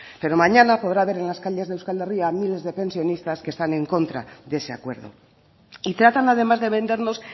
pero mañana podrá ver en las calles de euskal herria a miles de pensionistas que están en contra de ese acuerdo y tratan además de vendernos